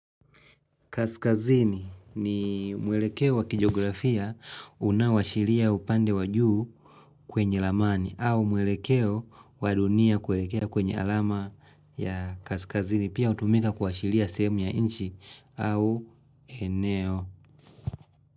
Kaskazini, ni mwelekeo wakijografia unawashiria upande wajuu kwenye lamani, au mwelekeo wadunia kuelekea kwenye alama ya kaskazini. Pia utumika kuashiria semu ya inchi au eneo.